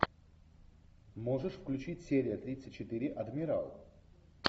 можешь включить серия тридцать четыре адмирал